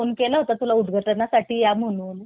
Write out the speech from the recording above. phone केला होता तुला उदघाटनासाठी या म्हणून